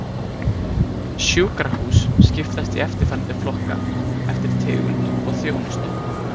Sjúkrahús skiptast í eftirfarandi flokka eftir tegund og þjónustu